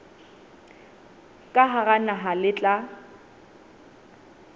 ka hara naha le tla